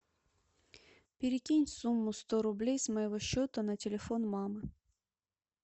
перекинь сумму сто рублей с моего счета на телефон мамы